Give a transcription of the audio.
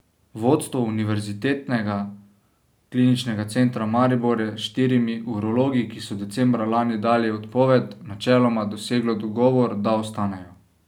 Vodstvo Univerzitetnega kliničnega centra Maribor je s štirimi urologi, ki so decembra lani dali odpoved, načeloma doseglo dogovor, da ostanejo.